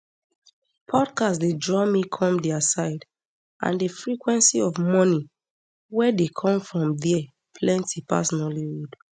podcast dey draw me come dia side and di frequency of money wey dey come from dia plenti pass nollywood